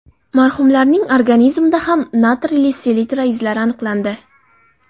Marhumlarning organizmida ham natriyli selitra izlari aniqlandi.